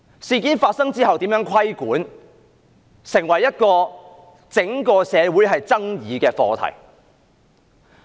事件發生後如何規管，成為整個社會爭議的課題。